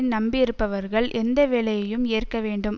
நம்பியிருப்பவர்கள் எந்த வேலையையும் ஏற்க வேண்டும்